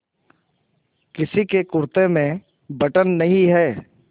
किसी के कुरते में बटन नहीं है